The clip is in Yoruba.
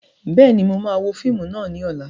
Bẹ́ẹ̀ni, máa wo fíìmù náà ni ọ̀la